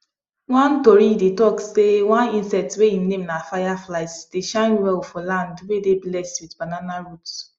one tori dey talk sey one insect wey em name na fireflies dey shine well for land wey dey blessed with banana roots